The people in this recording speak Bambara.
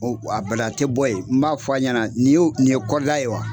O a bada a tɛ bɔ ye. N b'a fɔ a ɲana ni y'o nin ye kɔrida ye wa?